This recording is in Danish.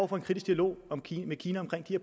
for en kritisk dialog med kina